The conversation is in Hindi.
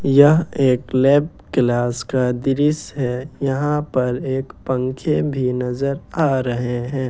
यह एक लैब क्लास का दृश्य है यहां पर एक पंखे भी नजर आ रहे हैं ।